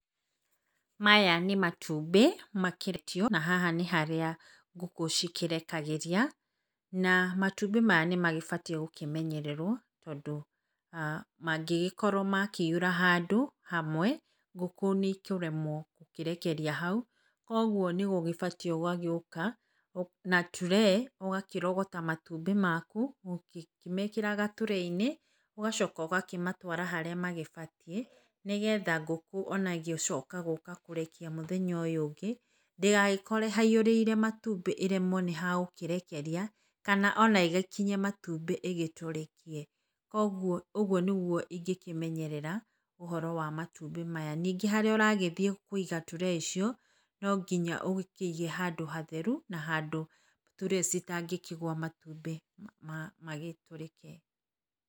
Maya nĩ matumbĩ mareketio na haha nĩharĩa ngũkũ cikĩrekagĩria na matumbĩ maya nĩ mabatiĩ gũkĩmenyererwo tondũ mangĩgĩkorwo makĩihũra handũ hamwe, ngũkũ nĩ ikũremwo gũkĩrekeria hau, kũoguo nĩ ũgĩbatiĩ ũgagĩũka na turee ũgakĩrogota matumbĩ maku ũkĩmekĩraga turee-inĩ ũgacoka ũgakĩmatwara harĩa magĩbatiĩ, nĩ getha ona ngũkũ ona ĩgĩcoka gũka kũrekia mũthenya ũyũ ũngĩ, ndĩgagĩkore haihũrĩrĩire matumbĩ ĩremwo nĩ ha gũkĩrekeria kana ona ĩgĩkinye matumbĩ ĩgĩtũrĩkie. Kũoguo ũguo nĩguo ingĩkĩmenyerera ũhoro wa matumbĩ maya. Ningĩ harĩa ũragĩthiĩ kũiga turee icio, no nginya ũgĩkĩige handũ hatheru na handũ turee citangĩkĩgũa matumbĩ magĩtũrĩke.